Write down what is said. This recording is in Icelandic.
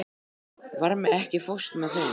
Varmi, ekki fórstu með þeim?